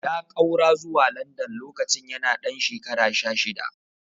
Ya ƙaura zuwa London lokacin yana ɗan shekara sha shida.